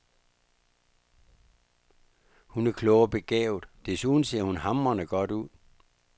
Hun er klog og begavet, desuden ser hun hamrende godt ud.